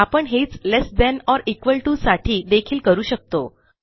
आपण हेच less than or equal to साठी देखील करू शकतो